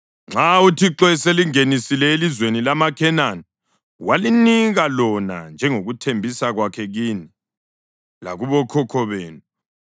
Nxa uThixo eselingenisile elizweni lamaKhenani walinika lona njengokuthembisa kwakhe kini lakubokhokho benu,